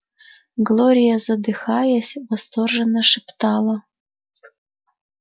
глория задыхаясь восторженно шептала